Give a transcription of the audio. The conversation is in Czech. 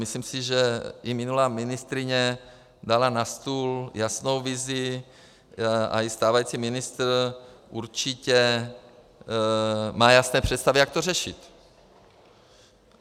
Myslím si, že i minulá ministryně dala na stůl jasnou vizi, a i stávající ministr určitě má jasné představy, jak to řešit.